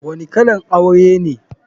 Wani kalan aure ne?